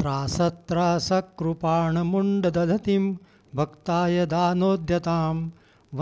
त्रासत्रासकृपाणमुण्डदधतीं भक्ताय दानोद्यतां